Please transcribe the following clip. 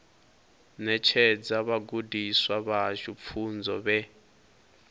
ṋetshedza vhagudiswa vhashu pfunzo vhe